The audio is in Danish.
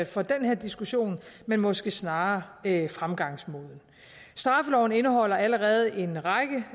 for den her diskussion men måske snarere i fremgangsmåden straffeloven indeholder allerede en række